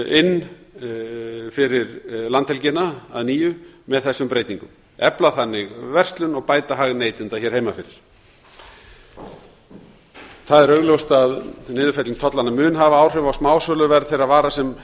inn fyrir landhelgina að nýju með þessum breytingum efla þannig verslun og bæta hag neytenda hér heima fyrir það er augljóst að niðurfelling tollanna mun hafa áhrif á smásöluverð þeirra vara sem